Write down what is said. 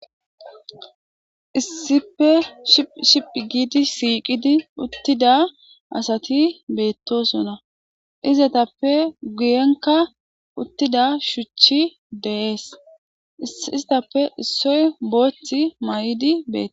Issippe shiphi ship gidi shiqidi uthida assathi bethossona. Izzathappe guyenka uthida shuchi dees. Isthape issoy bothi maydi bethes.